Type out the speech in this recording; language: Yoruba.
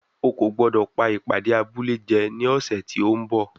O kò gbọ́dọ̀ pá ìpàdé abúlé jẹ ní ọ̀sẹ̀ tí ó ń bọ̀.